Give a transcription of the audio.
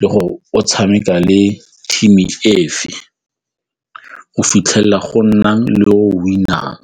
le go o tshameka le team efe go fitlhelela go nna le o win-ang.